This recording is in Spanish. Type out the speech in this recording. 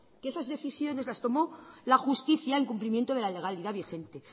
que esas decisiones las tomó la justicia en cumplimiento de la legalidad vigente